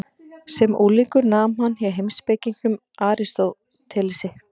Sem unglingur nam hann hjá heimspekingnum Aristótelesi.